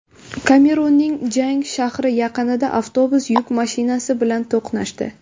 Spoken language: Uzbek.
Kamerunning Jang shahri yaqinida avtobus yuk mashinasi bilan to‘qnashdi.